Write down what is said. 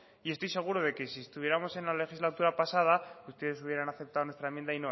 y estoy seguro de que si estuviéramos en la legislatura pasada ustedes hubieran aceptado nuestra enmiendo